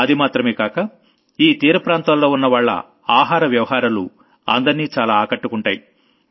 అది మాత్రమే కాక ఈ తీరప్రాంతాల్లో ఉన్నవాళ్ల ఆహార వ్యవహారాలు అందర్నీ చాలా ఆకట్టుకుంటాయి